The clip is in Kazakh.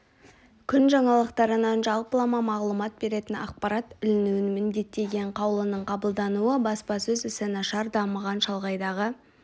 күн жаңалықтарынан жалпылама мағлұмат беретін ақпарат ілінуін міндеттеген қаулының қабылдануы баспасөз ісі нашар дамыған шалғайдағы